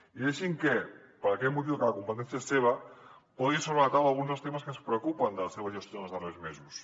i deixi’m que per aquest motiu que la competència és seva posi sobre la taula alguns dels temes que ens preocupen de la seva gestió en els darrers mesos